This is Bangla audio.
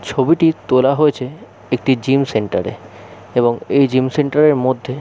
ছবিটি তোলা হয়েছে একটি জিম সেন্টার এ এবং এই জিম সেন্টার -এর মধ্যে--